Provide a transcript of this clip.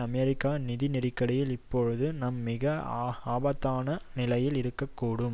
அமெரிக்க நிதி நெருக்கடியில் இப்பொழுது நாம் மிக ஆபத்தான நிலையில் இருக்க கூடும்